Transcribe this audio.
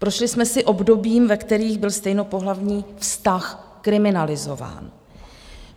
Prošli jsme si obdobím, ve kterém byl stejnopohlavní vztah kriminalizován.